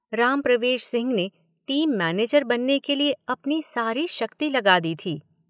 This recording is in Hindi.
राम प्रवेश सिंह ने टीम मैनेजर बनने के लिए अपनी सारी शक्ति लगा दी थी।